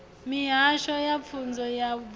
mihasho ya pfunzo ya vunḓu